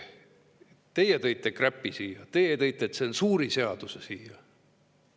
Teie tõite kräpi siia, teie tõite tsensuuriseaduse siia.